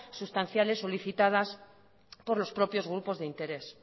sustanciales solicitadas por los propios grupos de interés